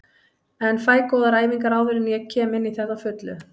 En fæ góðar æfingar áður en ég kem inní þetta á fullu.